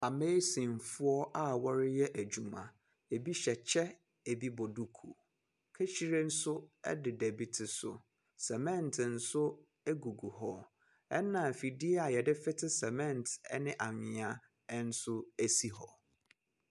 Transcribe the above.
Ammeesinfoɔ a wɔreyɛ adwuma. Ebi hyɛ kyɛ, ebi bɔ duku. Kahyire nso deda ebi tiri so. Sɛmɛnte nso gugu hɔ, ɛnna afidie a wɔde fete cement ne anwea nso si hɔ.